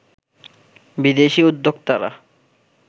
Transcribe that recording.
বিদেশি উদ্যোক্তারা